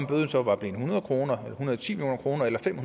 bøden så var blevet hundrede kroner eller hundrede og ti million kroner eller fem